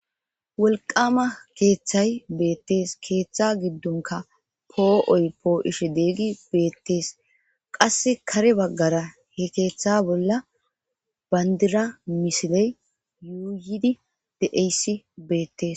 Woliqqama kethay betes ketha gidoni po'oy po'ishe betes qasi kare bagara he ketha bolla banidira misiley utidi de'es betes